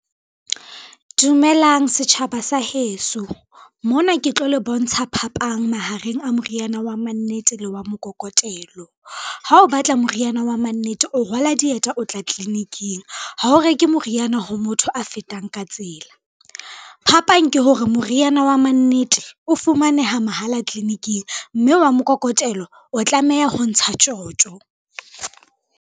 Dumelang setjhaba sa heso. Mona ke tlo le bontsha phapang mahareng a moriana wa mannete le wa mokokotelo. Ha o batla moriana wa mannete o rwala dieta o tla tliliniking, ha o reke moriana ho motho a fetang ka tsela. Phapang ke hore moriana wa mannete o fumaneha mahala tliliniking, mme wa mokokotelo o tlameha ho ntsha tjotjo.